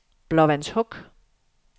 Blåvandshuk